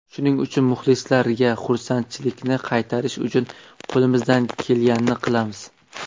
Shuning uchun muxlislarga xursandchilikni qaytarish uchun qo‘limizdan kelganini qilamiz.